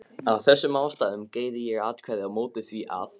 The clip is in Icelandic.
Af þessum ástæðum greiði ég atkvæði á móti því, að